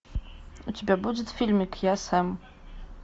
у тебя будет фильмик я сэм